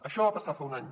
això va passar fa un any